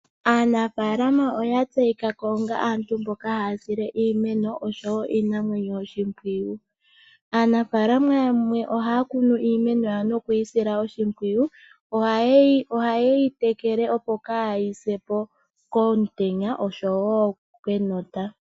Aanafalama oyatseyika ko onga aantu mboka haya sile iimeno oshowo iinamwenyo oshimpwiyu. Aanafaalama yamwe ohaya kunu iimeno yawo nokuyi sila oshimpwiyu. Ohayeyi tekele opo kaayisepo kenota oshowo komutenya.